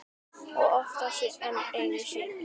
Og oftar en einu sinni.